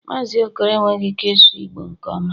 Mazị okoro enweghị ike ịsụ Igbo nke ọma